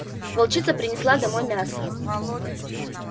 волчица принесла домой мясо